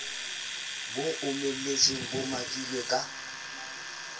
bo omeletseng bo meqilweng ka